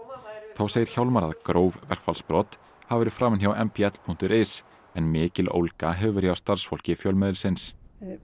þá segir Hjálmar að gróf verkfallsbrot hafi verið framin hjá m b l punktur is en mikil ólga hefur verið hjá starfsfólki fjölmiðilsins